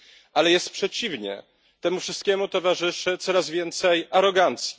Ale jest przeciwnie temu wszystkiemu towarzyszy coraz więcej arogancji.